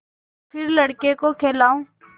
फिर लड़के को खेलाऊँ